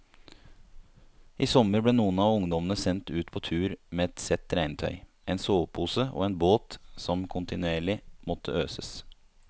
I sommer ble noen av ungdommene sendt ut på tur med ett sett regntøy, en sovepose og en båt som kontinuerlig måtte øses.